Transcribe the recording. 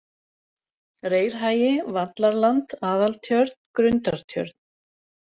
Reyrhagi, Vallarland, Aðaltjörn, Grundartjörn